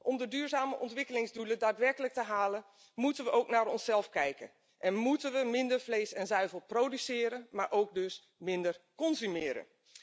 Om de duurzame ontwikkelingsdoelen daadwerkelijk te halen, moeten we ook naar onszelf kijken, en moeten we minder vlees en zuivel produceren, maar ook dus minder consumeren.